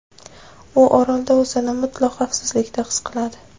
U orolda o‘zini mutlaq xavfsizlikda his qiladi.